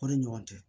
O ni ɲɔgɔn cɛ